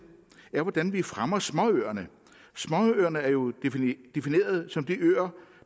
er hvordan vi fremmer småøerne småøerne er jo defineret som de øer